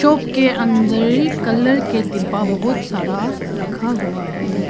के अंदर कलर के डिब्बा बहोत सारा रखा हुआ है।